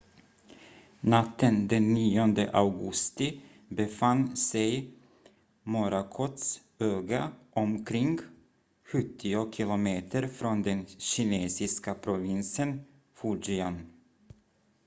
natten den 9 augusti befann sig morakots öga omkring sjuttio kilometer från den kinesiska provinsen fujian